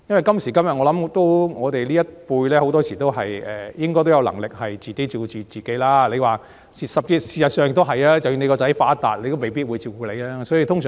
今時今日，我們這一輩很多人應該都有能力自我照顧，而即使子女出人頭地，也未必會照顧父母。